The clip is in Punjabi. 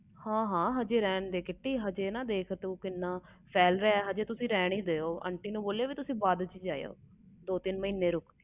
ਹਾ ਹਾਂ ਅਜੇ ਤੂੰ ਰਹਿਣ ਦੇ ਕਿੰਨਾ ਫੈਲ ਰਹੇ ਏ aunty uncle ਨੂੰ ਬੋਲੋ ਤੁਸੀ ਬਾਦ ਵਿਚ ਜਾਓ